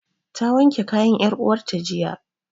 Ta wanke kayan 'yar uwarta jiya.